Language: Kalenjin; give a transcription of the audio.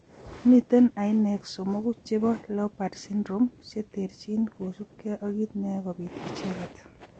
Mitei ainek 3 chebo leopard syndrome cheterchin kosubgei ak kiit neyoe kobit icheket